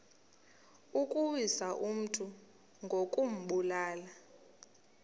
ukuwisa umntu ngokumbulala